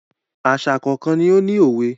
Àṣà kọ̀ọ̀kan ni ó ní òwe.